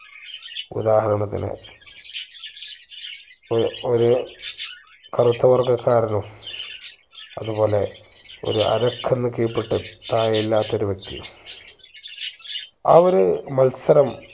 ഉദാഹരണത്തിനു ഒ ഒരു കറുത്ത വർഗക്കാരനും അതുപോലെ ഒരു അരക്ക്ന്ന് കീഴ്പ്പട്ട് താഴെ ഇല്ലാത്ത ഒരു വ്യക്തിയും ആ ഒരു മത്സരം